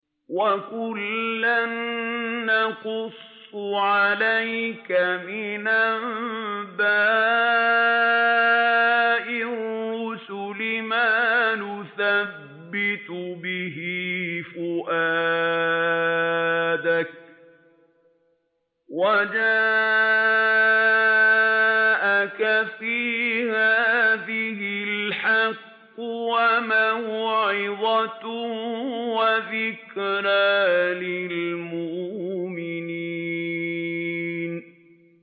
وَكُلًّا نَّقُصُّ عَلَيْكَ مِنْ أَنبَاءِ الرُّسُلِ مَا نُثَبِّتُ بِهِ فُؤَادَكَ ۚ وَجَاءَكَ فِي هَٰذِهِ الْحَقُّ وَمَوْعِظَةٌ وَذِكْرَىٰ لِلْمُؤْمِنِينَ